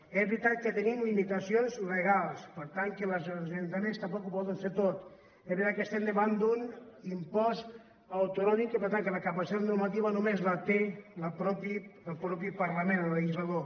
és veritat que tenim limitacions legals per tant que els ajuntaments tampoc ho poden fer tot és veritat que estem davant d’un impost autonòmic i per tant que la capacitat normativa només la té el mateix parlament el legislador